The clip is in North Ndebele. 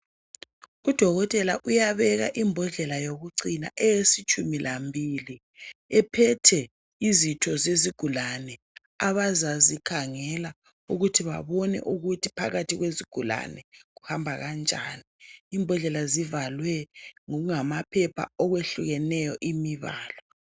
Udokotela uyabeka imbodlela yokucina eyesitshumi lambili ephethe izitho zezigulane abazazi khangela ukuthi babone ukuthi phakathi kwezigulane kuhamba njani. Imbodlela zivalwe ngokungama phepha okwehlukeneyo imbala.